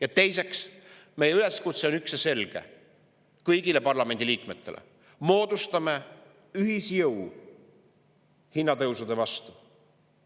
Ja teiseks, meie üleskutse kõigile parlamendi liikmetele on ka üks ja selge: moodustame ühisjõu hinnatõusude vastu.